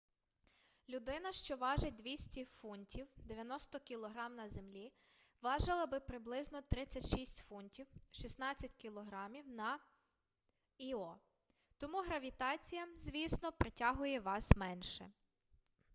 людина що важить 200 фунтів 90 кг на землі важила би приблизно 36 фунтів 16 кг на іо. тому гравітація звісно притягує вас менше